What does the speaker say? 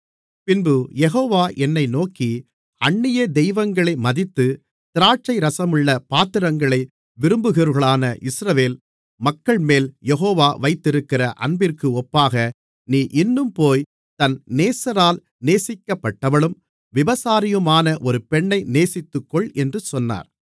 பின்பு யெகோவா என்னை நோக்கி அந்நிய தெய்வங்களை மதித்து திராட்சைரசமுள்ள பாத்திரங்களை விரும்புகிறவர்களான இஸ்ரவேல் மக்கள்மேல் யெகோவா வைத்திருக்கிற அன்பிற்கு ஒப்பாக நீ இன்னும் போய் தன் நேசரால் நேசிக்கப்பட்டவளும் விபசாரியுமான ஒரு பெண்ணை நேசித்துக்கொள் என்று சொன்னார்